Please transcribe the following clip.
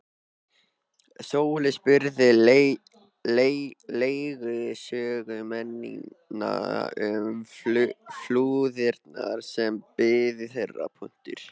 Sóley spurði leiðsögumennina um flúðirnar sem biðu þeirra.